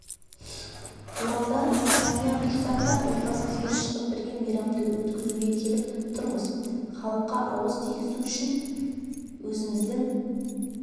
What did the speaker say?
-оралда жанұя тұрсақ та отбасымызбен шығып бірге мейрамды өткізуге келіп тұрмыз халыққа ауыз тигізу үшін өзіміздің